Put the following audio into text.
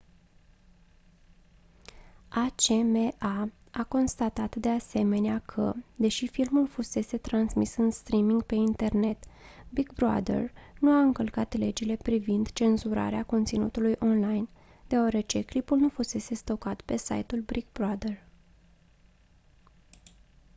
acma a constatat de asemenea că deși filmul fusese transmis în streaming pe internet big brother nu a încălcat legile privind cenzurarea conținutului online deoarece clipul nu fusese stocat pe site-ul big brother